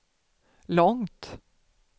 långt